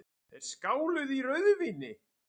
Þeir skáluðu í rauðvíni.